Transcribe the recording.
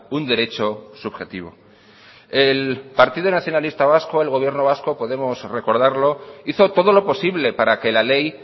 un derecho subjetivo el partido nacionalista vasco el gobierno vasco podemos recordarlo hizo todo lo posible para que la ley